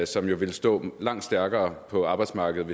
som jo ville stå langt stærkere på arbejdsmarkedet